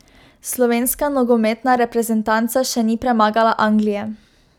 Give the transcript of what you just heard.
Slovenska nogometna reprezentanca še ni premagala Anglije.